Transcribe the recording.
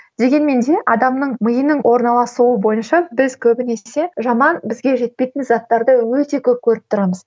дегенмен де адамның миының орналасуы бойынша біз көбінесе жаман бізге жетпейтін заттарды өте көп көріп тұрамыз